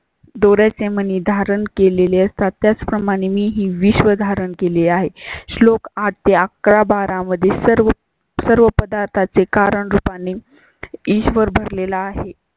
दोऱ्याचे मणी धारण केलेली असतात, त्याचप्रमाणे मीही विश्व धारण केले आहे. श्लोक आठ ते अकरा बारा मध्ये सर्व सर्व पदार्था चे कारण रूपाने ईश्वर भरलेला आहे